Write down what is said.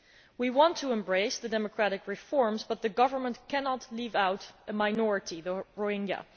We want to embrace the democratic reforms, but the government cannot leave out a minority, the Rohingya.